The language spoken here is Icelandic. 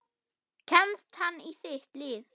Kemst hann í þitt lið?